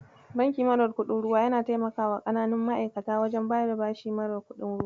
Banki mara kuɗin ruwa yana taimakawa ƙananan ma'aikata wajen bada bashi mara kuɗin ruwa.